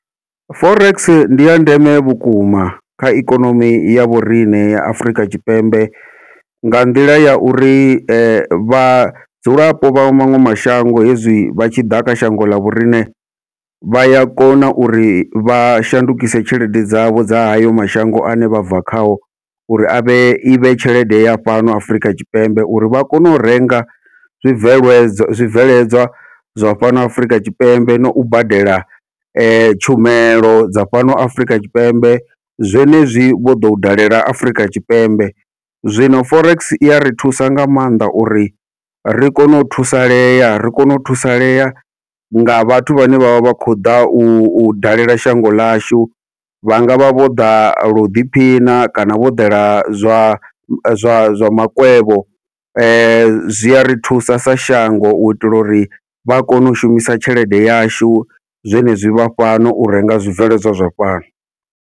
Forex ndi ya ndeme vhukuma kha ikonomi ya vhoriṋe ya Afurika Tshipembe, nga nḓila ya uri vhadzulapo vha maṅwe mashango hezwi vha tshi ḓa kha shango ḽa vhoriṋe, vha ya kona uri vha shandukise tshelede dzavho dza hayo mashango ane vha bva khao, uri avhe ivhe tshelede ya fhano Afurika Tshipembe uri vha kone u renga zwibveledzwa zwibveledzwa zwa fhano Afrika Tshipembe nau badela tshumelo dza fhano Afrika Tshipembe zwenezwi vho ḓo u dalela Afurika Tshipembe. Zwino forex iya ri thusa nga maanḓa uri ri kone u thusalea ri kone u thusalea nga vhathu vhane vha vha vha khou ḓa u dalela shango ḽashu, vha ngavha vho ḓa lo u ḓiphina kana vho ḓela zwa zwa zwa makwevho, zwi ari thusa sa shango u itela uri vha kone u shumisa tshelede yashu zwenezwi vha fhano u renga zwibveledzwa zwa fhano.